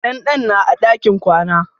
Dandan na a ɗakin kwana.